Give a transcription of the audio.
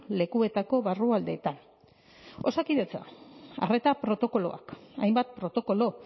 lekuetako barrualdetan osakidetza arreta protokoloak hainbat protokolo